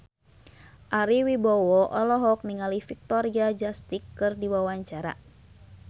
Ari Wibowo olohok ningali Victoria Justice keur diwawancara